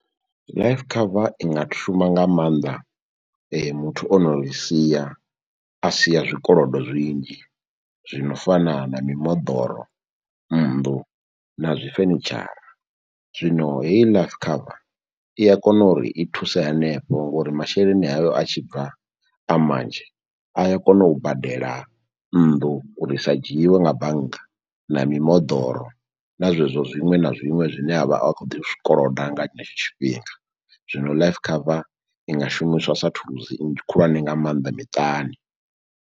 Life cover i nga shuma nga maanḓa muthu ono ri sia a siya zwikolodo zwinzhi zwino fana na mimoḓoro, nnḓu na zwi fenitshara, zwino heyi life cover i a kona uri i thuse hanefho ngori masheleni ayo a tshi bva a manzhi a ya kona u badela nnḓu uri i sa dzhiiwe nga bannga na mimoḓoro na zwezwo zwiṅwe na zwiṅwe zwine avha akho ḓi zwikolodo nga tshenetsho tshifhinga. Zwino life cover i nga shumiswa sa thulusi nnzhi khulwane nga maanḓa miṱani.